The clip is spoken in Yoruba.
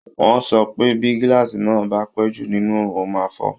Wọ́n sọ pé bí glass naà bá pẹ́ jù nínú òòrùn, ó máa fọ́